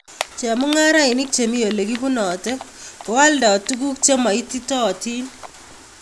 Chemung'arainik chemii olekibunote ko aldoo tuguk chemaititootin